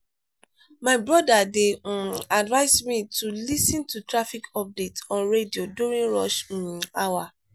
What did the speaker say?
my brother dey um advise me to lis ten to traffic updates on radio during rush um hour.